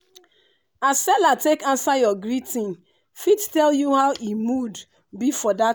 as seller take answer your greeting fit tell you how e mood be for that